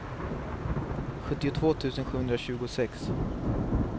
sjuttiotvå tusen sjuhundratjugosex